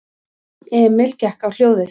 Emil gekk á hljóðið.